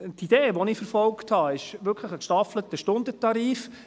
Die Idee, welche ich verfolgt habe, ist wirklich ein gestaffelter Stundentarif.